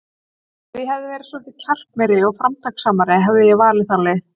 Ef ég hefði verið svolítið kjarkmeiri og framtakssamari, hefði ég valið þá leið.